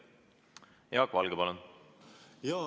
Jaak Valge, palun!